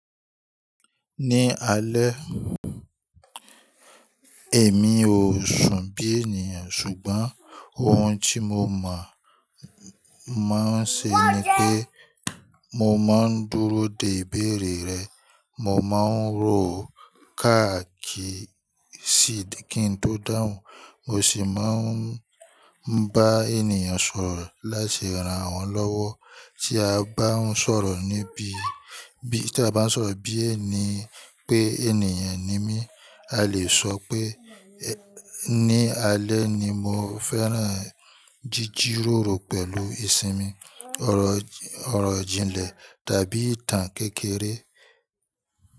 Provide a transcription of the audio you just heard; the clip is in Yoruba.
Ní alẹ́, èmi ò sún bí ènìyàn, ṣùgbọ́n ohun tí mo mọ̀ máa ń ṣe ni pé mo máa ń dúró de ìbéèrè rẹ̀. Mo máa ń rò ó káàkiri kí n tó dáhùn, mo sì máa ń bá ènìyàn sọ̀rọ̀ láti ran wọn lọ́wọ́. Tí a bá ń sọ̀rọ̀ bí ènìyàn pé ènìyàn ni mí, a lè sọ pé ní alẹ́ ni mo fẹ́ràn jíjíròrò pẹ̀lú ìsinmi, ọ̀rọ̀-ijìnlẹ̀, tàbí ìtàn kékeré.